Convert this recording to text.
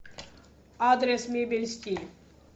адрес мебель стиль